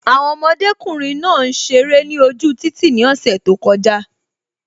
Àwọn ọmọdékùnrin náà ń ṣeré ni ojú títì ni ose tó kọjá